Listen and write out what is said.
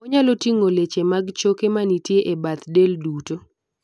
onyalo ting'o leche mag choke manitie e bath del duto